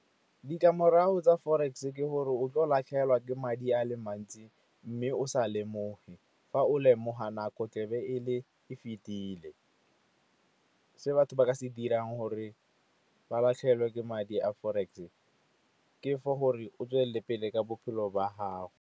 Ditlamorago tsa forex-e ke gore o tlo latlhegelwa ke madi a le mantsi, mme o sa lemoge. Fa o lemoga, nako tle be e fetile ke batho ba ka se dirang gore ba latlhegelwe ke madi a forex ke for gore o tswelele pele ka bophelo ba gago.